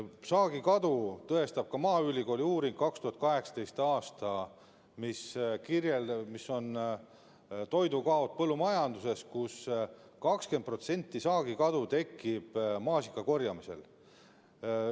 Saagikadu tõestab ka maaülikooli 2018. aastal tehtud uuring, mis kirjeldab, millised on toidukaod põllumajanduses ja et 20% saagikadu tekib maasikakorjamisel.